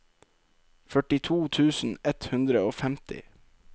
førtito tusen ett hundre og femti